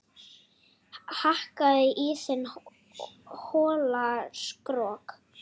Hakkaðu í þinn hola skrokk